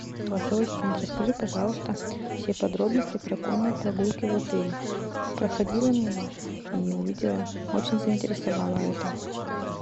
голосовой ассистент расскажи пожалуйста все подробности про конные прогулки в отеле проходила мимо и увидела очень заинтересовало это